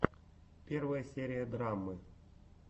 первая серия драммы